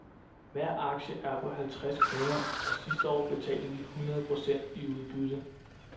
Hver aktie er på halvtreds kroner, og sidste år betalte vi hundrede procent i udbytte.